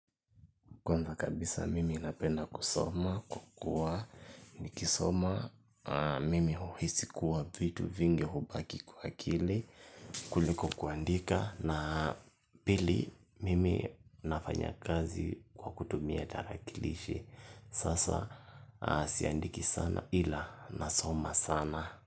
Kwanza kabisa mimi napenda kusoma, kwa kuwa, nikisoma, mimi huhisi kuwa vitu vingi hubaki kwa hakili, kuliko kuandika, naa pili mimi nafanya kazi kwa kutumia tarakilishi, sasa siandiki sana ila nasoma sana.